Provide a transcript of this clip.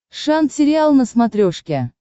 шант сериал на смотрешке